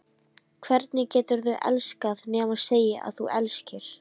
Hvernig geturðu elskað nema segja að þú elskir?